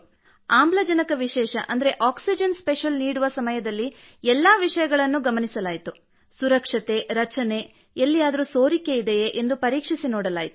ಆಮ್ಲಜನಕ ವಿಶೇಷ oxygen special ನೀಡುವ ಸಮಯದಲ್ಲಿ ಎಲ್ಲಾ ವಿಷಯಗಳನ್ನೂ ಗಮನಿಸಲಾಯಿತು ಸುರಕ್ಷತೆ ರಚನೆ ಎಲ್ಲಿಯಾದರೂ ಸೋರಿಕೆಯಿದೆಯೇ ಎಂದು ಪರೀಕ್ಷಿಸಿ ನೋಡಲಾಯಿತು